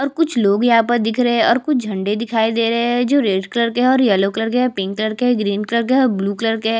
और कुछ लोग यहाँ पर दिख रहे है और कुछ झंडे दिखाई दे रहे है जो रेड कलर के है येलो कलर के है पिंक कलर के है ग्रीन कलर के है ब्लू कलर के है।